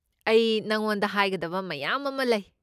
ꯑꯩ ꯅꯉꯣꯟꯗ ꯍꯥꯏꯒꯗꯕ ꯃꯌꯥꯝ ꯑꯃ ꯂꯩ꯫